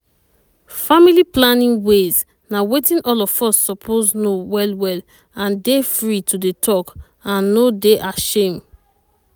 family planning ways na wetin all of us suppose know well well and dey free to dey talk and no dey ashame.